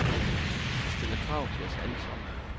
Det stiller krav til os alle sammen.